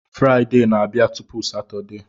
Fraịde na-abịa tupu Satọdee